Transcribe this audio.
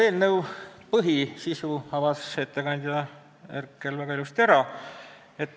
Eelnõu põhisisu avas ettekandja Herkel juba väga ilusti.